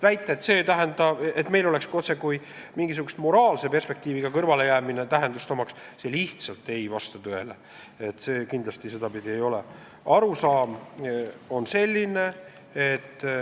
Väide, et meie kõrvalejäämine omaks otsekui mingisugust moraalset perspektiivi, lihtsalt ei vasta tõele, see kindlasti sedapidi ei ole.